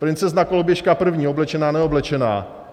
Princezna Koloběžka první, oblečená - neoblečená.